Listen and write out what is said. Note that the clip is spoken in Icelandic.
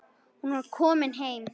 Hún var komin heim.